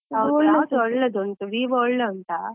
ಒಳ್ಳೆದು ಉಂಟು Vivo ಒಳ್ಳೆ ಉಂಟಾ?